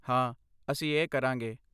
ਹਾਂ, ਅਸੀਂ ਇਹ ਕਰਾਂਗੇ।